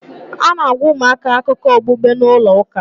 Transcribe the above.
A na-agwa ụmụaka akụkọ okpukpe n'ụlọ ụka.